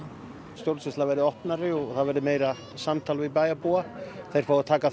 stjórnsýslan verði opnari og það verði meira samtal við bæjarbúa þeir fái að taka